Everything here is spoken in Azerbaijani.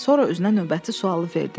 Sonra özünə növbəti sualı verdi.